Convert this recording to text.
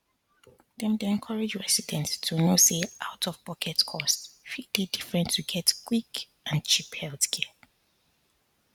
dem dey encourage residents to know say outofpocket costs fit dey different to get quick and cheap healthcare